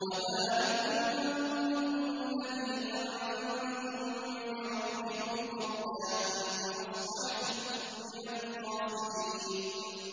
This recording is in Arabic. وَذَٰلِكُمْ ظَنُّكُمُ الَّذِي ظَنَنتُم بِرَبِّكُمْ أَرْدَاكُمْ فَأَصْبَحْتُم مِّنَ الْخَاسِرِينَ